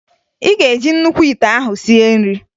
Ị ga-eji nnukwu ite ahụ sie nri!